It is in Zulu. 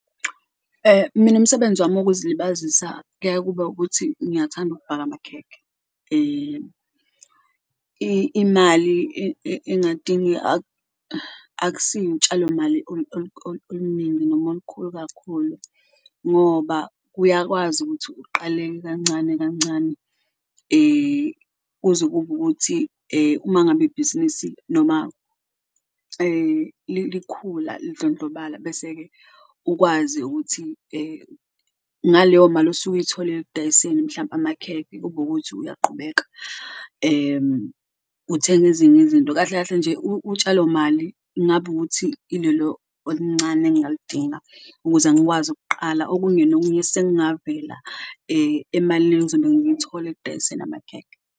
Mina umsebenzi wami wokuzilibazisa kuya kube ukuthi ngiyathanda ukubhaka amakhekhe imali akusiyo utshalo mali oluningi noma olukhulu kakhulu ngoba uyakwazi ukuthi uqale kancane kancane. Kuze kube ukuthi uma ngabe ibhizinisi noma likhula lidlondlobala bese-ke ukwazi ukuthi ngaleyo mali osuke uyitholile ekudayiseni mhlampe amakhekhe kube ukuthi uyaqubeka uthenga ezinye izinto. Kahle kahle nje utshalo mali ngaba ukuthi ilolo oluncane engalidinga ukuze ngikwazi ukuqala okunye nokunye sekungavela emalini engizobe ngiyithole ekudayiseni amakhekhe.